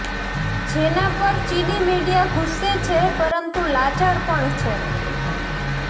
જેના પર ચીની મીડિયા ગુસ્સે છે પરંતુ લાચાર પણ છે